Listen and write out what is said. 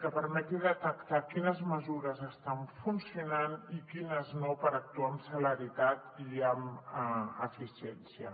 que permeti detectar quines mesures estan funcionant i quines no per actuar amb celeritat i amb eficiència